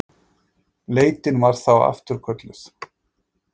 Leitin var þá afturkölluð